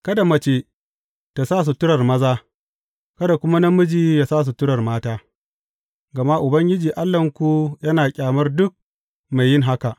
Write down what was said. Kada mace ta sa suturar maza, kada kuma namiji ya sa suturar mata, gama Ubangiji Allahnku yana ƙyamar duk mai yin haka.